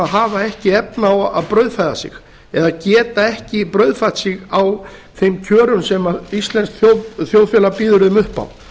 hafa ekki efni á að brauðfæða sig eða geta ekki brauðfætt sig á þeim kjörum sem íslenskt þjóðfélag býður þeim upp á